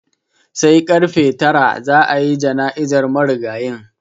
Sai karfe tara za a yi jana'izar marigayin.